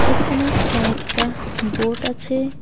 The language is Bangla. এখানে কয়েকটা বোট আছে।